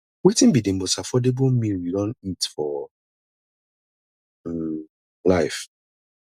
wetin be di most affordable meal you don eat for um life